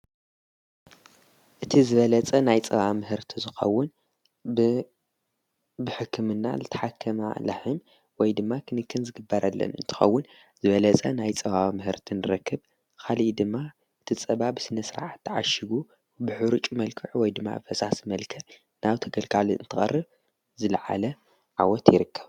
እቲ ዝበለፀ ናይ ፀባ ምህርቲ ዝኸውን ብሕክምና ልተሓከማ ላሕም ወይ ድማ ኽንክን ዝግበረለን እንትኸውን ዝበለጸ ናይ ፀባ ምህርት ንረክብ ኻልእ ድማ እቲ ፀባ ብስነ ስርዓት ተዓሽጉ ብሕሩጭ መልክዕ ወይ ድማ ፈሳስ መልክዕ ናብ ተገልጋሊ ንተቐርብ ዝለዓለ ዓወት ይርከብ።